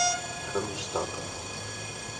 кронштадтом